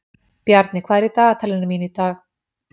Bjarni, hvað er í dagatalinu mínu í dag?